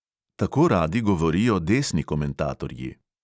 Tako radi govorijo desni komentatorji.